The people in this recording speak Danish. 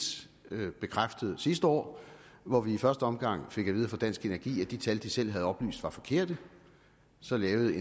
bekræftet sidste år hvor vi i første omgang fik at vide fra dansk energi at de tal de selv havde oplyst var forkerte så lavede